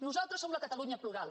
nosaltres som la catalunya plural